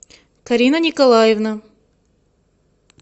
карина николаевна